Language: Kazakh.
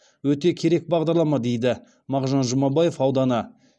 өте керек бағдарлама дейді мғжан жұмабаев ауданы